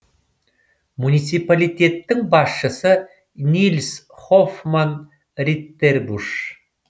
муниципалитеттің басшысы нильс хоффман риттербуш